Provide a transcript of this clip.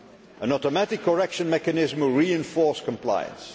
An automatic correction mechanism will re enforce compliance.